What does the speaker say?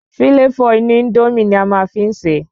Fíláfò inú Índómì ni a máa n fi se